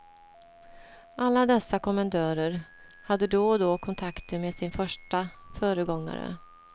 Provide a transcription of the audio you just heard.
Alla dessa kommendörer hade då och då kontakter med sin första föregångare.